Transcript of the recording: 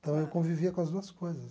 Então, eu convivia com as duas coisas.